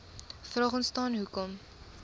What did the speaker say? vraag ontstaan hoekom